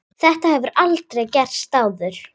Þetta hefur aldrei gerst áður.